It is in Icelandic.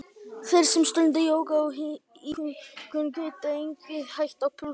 Þeir sem stunda jóga og íhugun geta einnig hægt á púlsinum.